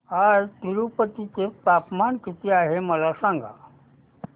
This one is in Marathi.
आज तिरूपती चे तापमान किती आहे मला सांगा